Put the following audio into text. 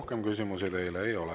Rohkem küsimusi teile ei ole.